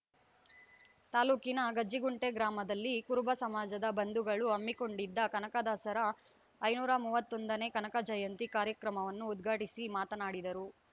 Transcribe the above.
ತಾಲೂಕಿನ ಗಂಜಿಗುಂಟೆ ಗ್ರಾಮದಲ್ಲಿ ಕುರುಬ ಸಮಾಜದ ಬಂಧುಗಳು ಹಮ್ಮಿಕೊಂಡಿದ್ದ ಕನಕದಾಸರ ಐನೂರ ಮೂವತ್ತೊಂದನೇ ಕನಕ ಜಯಂತಿ ಕಾರ್ಯಕ್ರಮವನ್ನು ಉದ್ಘಾಟಿಸಿ ಮಾತನಾಡಿದರು